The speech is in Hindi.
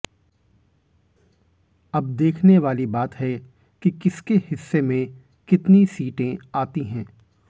अब देखने वाली बात है कि किसके हिस्से में कितनी सीटें आती हैं